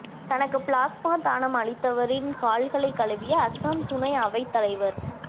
தனக்கு பிளாஸ்மா தானம் அளித்தவரின் கால்களைக் கழுவிய அசாம் துணை அவைத் தலைவர்